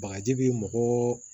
Bagaji bi mɔgɔ